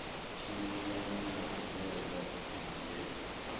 tshimbilelana na ṱhoḓea dza nqf